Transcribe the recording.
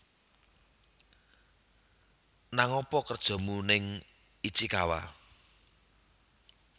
Nang apa kerjomu ning Ichikawa